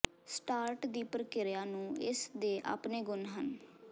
start ਦੀ ਪ੍ਰਕਿਰਿਆ ਨੂੰ ਇਸ ਦੇ ਆਪਣੇ ਗੁਣ ਹਨ